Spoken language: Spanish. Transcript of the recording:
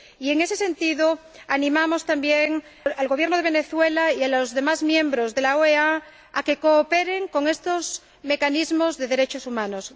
Y, en ese sentido, animamos también al Gobierno de Venezuela y a los demás miembros de la OEA a que cooperen con estos mecanismos de derechos humanos.